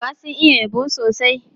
Maroƙa sun iya yabo sosai.